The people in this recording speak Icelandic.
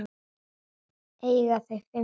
Eiga þau fimm syni.